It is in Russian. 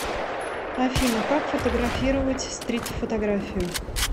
афина как фотографировать стрит фотографию